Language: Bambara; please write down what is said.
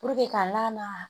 ka lamaga